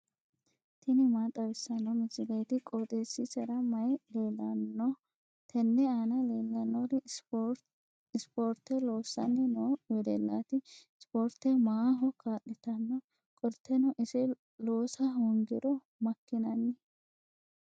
tini maa xawissanno misileeti? qooxeessisera may leellanno? tenne aana leellannori ispoorte loosanni noo wedellaati. ispoorte maaho kaa'litanno? qoltenno ise loosa hoongiro makkinanni?